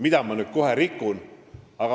Aitäh!